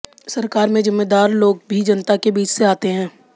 सरकार में जिम्मेदार लोग भी जनता के बीच से आते है